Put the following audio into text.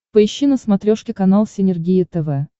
поищи на смотрешке канал синергия тв